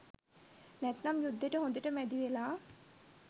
නැත්නම් යුද්දෙට හොඳට මැදිවෙලා